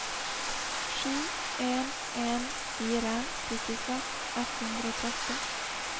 sju en en fire syttiseks ett hundre og tretti